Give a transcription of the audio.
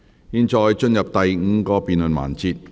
現在進入第五個辯論環節。